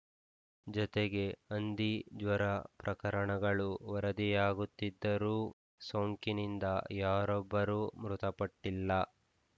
ಜತೆಗೆ ಹಂದಿ ಜ್ವರ ಪ್ರಕರಣಗಳು ವರದಿಯಾಗುತ್ತಿದ್ದರೂ ಸೋಂಕಿನಿಂದ ಯಾರೊಬ್ಬರೂ ಮೃತಪಟ್ಟಿಲ್ಲ